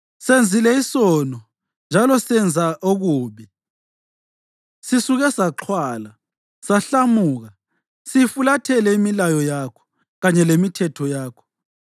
senzile isono njalo senza okubi. Sisuke saxhwala, sahlamuka; siyifulathele imilayo yakho kanye lemithetho yakho.